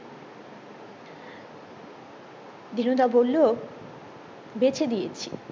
দিনু দা বললো বেঁচে দিয়েছি